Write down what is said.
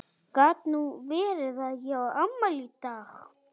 Gat nú verið